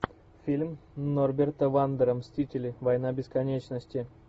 фильм норберта вандера мстители война бесконечности